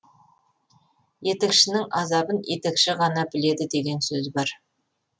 етікшінің азабын етікші ғана біледі деген сөз бар